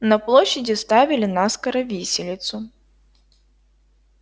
на площади ставили наскоро виселицу